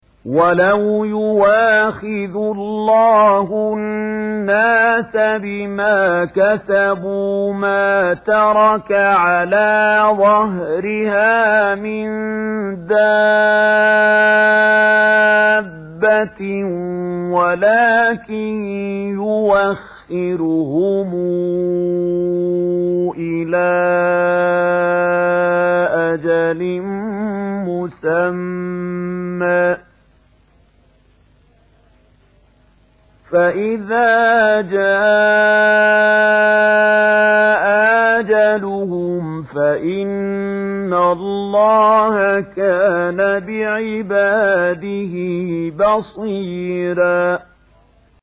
وَلَوْ يُؤَاخِذُ اللَّهُ النَّاسَ بِمَا كَسَبُوا مَا تَرَكَ عَلَىٰ ظَهْرِهَا مِن دَابَّةٍ وَلَٰكِن يُؤَخِّرُهُمْ إِلَىٰ أَجَلٍ مُّسَمًّى ۖ فَإِذَا جَاءَ أَجَلُهُمْ فَإِنَّ اللَّهَ كَانَ بِعِبَادِهِ بَصِيرًا